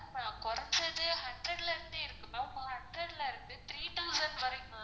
அஹ் கொறச்சது hundred ல இருந்தே இருக்கு ma'am hundred ல இருக்கு three thousand வரைக்கும்